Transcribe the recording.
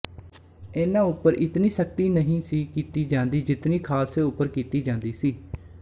ਇਨ੍ਹਾਂ ਉਂਪਰ ਇਤਨੀ ਸਖ਼ਤੀ ਨਹੀਂ ਸੀ ਕੀਤੀ ਜਾਂਦੀ ਜਿਤਨੀ ਖਾਲਸੇ ਉਂਪਰ ਕੀਤੀ ਜਾਂਦੀ ਸੀ